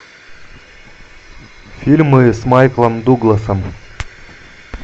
фильмы с майклом дугласом